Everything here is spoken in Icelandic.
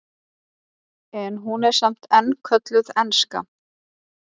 en hún er samt enn kölluð enska